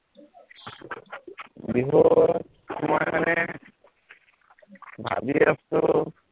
বিহুত মই মানে, ভাৱি আছো